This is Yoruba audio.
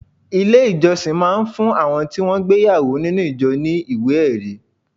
Ilé ìjọsìn máa ń fún àwọn tí wọn gbé ìyàwó nínú ìjọ ní ìwé-ẹri.